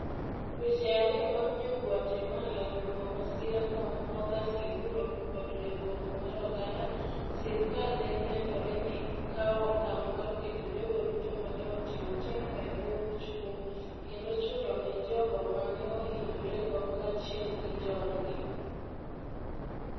Dweche ariyo bang ' Jo - Guatemala luongo masirano ni Hogar Seguro (Od Ritruok) mar oganda, sirkal nenore ni kawo okang ' mar keto jogo duto ma ne otimo timno e bwo buch kum, kendo chulo ne jogo ma ne ohinyorego kaachiel gi joodgi.